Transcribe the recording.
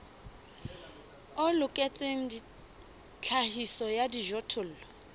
o loketseng tlhahiso ya dijothollo